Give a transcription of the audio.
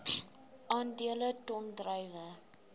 aandele ton druiwe